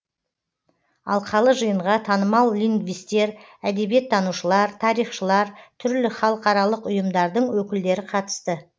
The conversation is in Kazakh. алқалы жиынға танымал лингвистер әдебиеттанушылар тарихшылар түрлі халықаралық ұйымдардың өкілдері қатысты